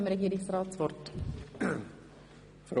– Das ist der Fall.